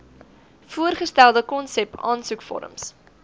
voorgestelde konsep aansoekvorms